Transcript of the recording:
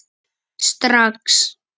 Strax